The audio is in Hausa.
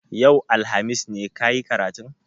Yau, alhamis ne ka yi karatun?